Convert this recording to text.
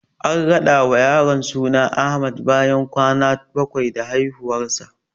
An rada wa yaron suna Ahmad bayan kwana bakwai da haihuwarsa.